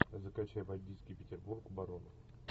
закачай бандитский петербург барон